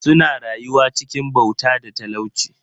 Suna rayuwa cikin bauta da talauci.